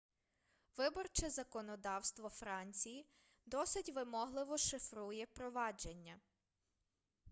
виборче законодавство франції досить вимогливо шифрує провадження